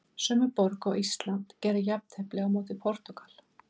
Sömu borg og Ísland gerði jafntefli á móti Portúgal.